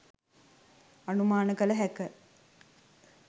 අනුමාන කළ හැක.